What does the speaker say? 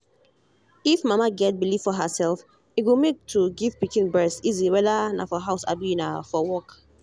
if mama get believe for herself e go make to give pikin breast easy whether na for house abi na for work